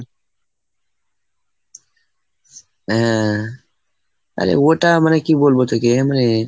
হ্যাঁ. আরে ওটা মানে কি বলবো তোকে? এমনি